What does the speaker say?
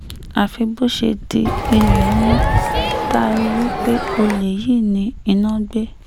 àfi bó ṣe di ilé mọ́ tá a rí i pé olè yìí ni iná gbé